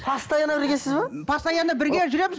постоянно біргесіз бе постоянно бірге жүреміз